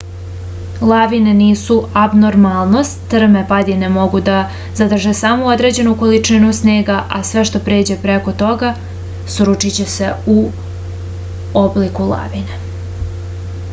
lavine nisu abnormalnost strme padine mogu da zadrže samo određenu količinu snega a sve što pređe preko toga sručiće se u obliku lavine